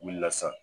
U wulila sisan